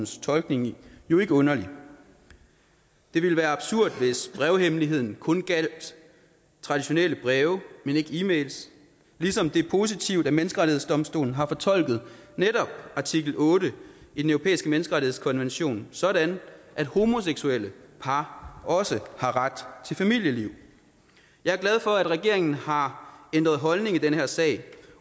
tolkning jo ikke underlig det ville være absurd hvis brevhemmeligheden kun gjaldt traditionelle breve men ikke e mails ligesom det er positivt at menneskerettighedsdomstolen har fortolket netop artikel otte i den europæiske menneskerettighedskonvention sådan at homoseksuelle par også har ret til familieliv jeg er glad for at regeringen har ændret holdning i den her sag